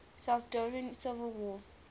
salvadoran civil war